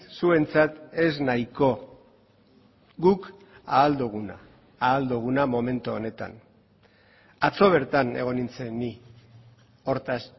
zuentzat ez nahiko guk ahal duguna ahal duguna momentu honetan atzo bertan egon nintzen ni hortaz